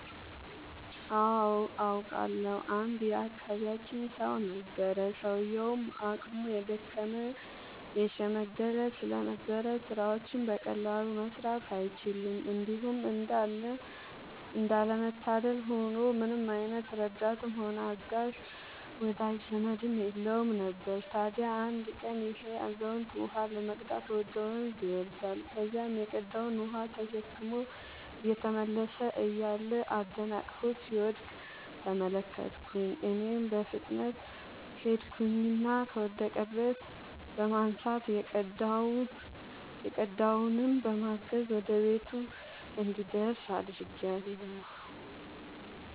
አዎ አውቃለሁ። አንድ የአካባቢያችን ሰው ነበረ፤ ሰውዬውም አቅሙ የደከመ የሽምገለ ስለነበር ስራዎችን በቀላሉ መስራት አይችልም። እንዲሁም እንዳለ መታደል ሆኖ ምንም አይነት ረዳትም ሆነ አጋዥ ወዳጅ ዘመድም የለውም ነበር። ታዲያ አንድ ቀን ይሄ አዛውንት ውሃ ለመቅዳት ወደ ወንዝ ይወርዳል። ከዚያም የቀዳውን ውሃ ተሸክሞ እየተመለሰ እያለ አደናቅፎት ሲወድቅ ተመለከትኩኝ እኔም በፍጥነት ሄድኩኝና ከወደቀበት በማንሳት የቀዳውንም በማገዝ ወደ ቤቱ እንዲደርስ አድርጌአለሁ።